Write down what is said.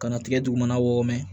Kana tigɛ dugumana wɔɔrɔ mɛn